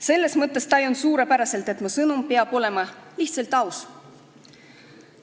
Selles mõttes tajun suurepäraselt, et mu sõnum peab olema lihtsalt aus.